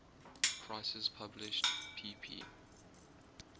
prices published pp